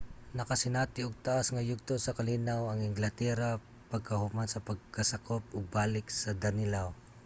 nakasinati og taas nga yugto sa kalinaw ang englatera pagkahuman sa pagkasakop og balik sa danelaw